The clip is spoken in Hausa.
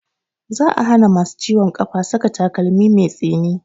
Za a hana masu ciwon ƙafa saka takalmi mai tsini